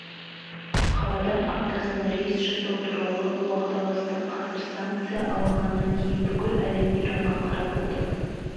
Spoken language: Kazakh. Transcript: қаладан аптасына рейс жасау туралы уағдаластық қазір санкция алынғаннан кейін бүкіл әлем иранға қарап отыр